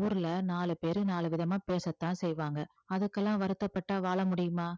ஊர்ல நாலு பேரு நாலுவிதமா பேசத்தான் செய்வாங்க அதுக்கெல்லாம் வருத்தப்பட்டா வாழ முடியுமா